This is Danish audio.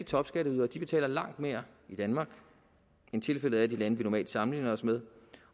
topskatteyderne betaler langt mere i danmark end tilfældet er i de lande vi normalt sammenligner os med